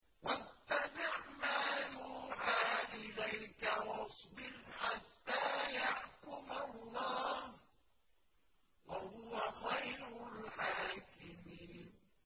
وَاتَّبِعْ مَا يُوحَىٰ إِلَيْكَ وَاصْبِرْ حَتَّىٰ يَحْكُمَ اللَّهُ ۚ وَهُوَ خَيْرُ الْحَاكِمِينَ